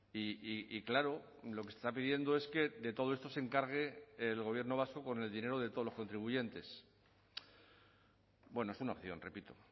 y claro lo que está pidiendo es que de todo esto se encargue el gobierno vasco con el dinero de todos los contribuyentes es una opción repito